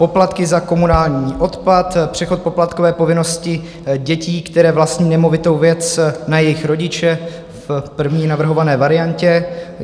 Poplatky za komunální odpad, přechod poplatkové povinnosti dětí, které vlastní nemovitou věc, na jejich rodiče, v první navrhované variantě.